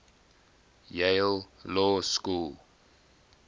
yale law school